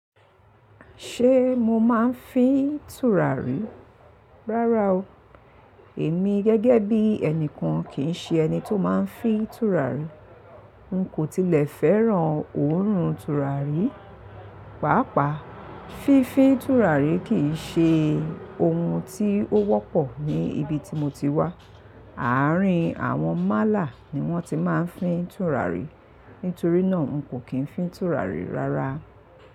Ṣé mo máa ń fín tùràrí? Rárá o. Èmi gẹ́gẹ́ bí ẹnìkan kì í ṣe ẹni tó máa ń fín tùràrí. N kò tilẹ̀ fẹ́ràn òórùn tùràrí. Pàápàá fífi tùràrí kì í ṣe ohun tí ó wọ́pọ̀ ní ibi tí mo ti wá. Àárín àwọn málà ni wọ́n ti máa ń fín tùràrí. Nítorí náà n kò kí ń fín tùràrí rárá.